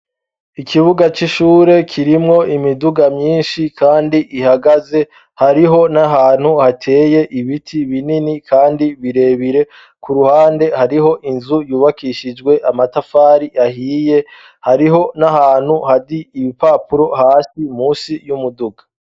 ikibuga c'ishure kirimwo imiduga myinshi kandi ihagaze hariho n'ahantu hateye ibiti binini kandi birebire ku ruhande hariho inzu yubakishijwe amatafari ahiye hariho n'ahantu hasi ibipapuro hasi munsi y'umuduga